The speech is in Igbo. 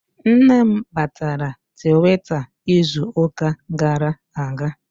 Nne m batara Twitter izuka gara aga